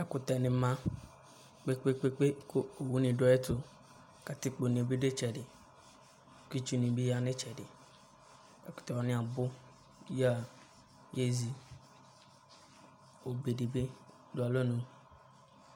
Ɛkʋtɛnɩ ma kpe-kpe-kpe kʋ owunɩ dʋ ayʋ ɛtʋ, katikpone bɩ dʋ ɩtsɛdɩ, kʋ itsunɩ bɩ ya nʋ ɩtsɛdɩ, ɛkʋtɛ wanɩ abʋ yǝ yezi Obe dɩ bɩ dʋ alɔnu